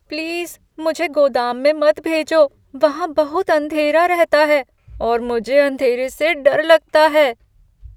Please मुझे गोदाम में मत भेजो। वहाँ बहुत अंधेरा रहता है और मुझे अँधेरे से डर लगता है।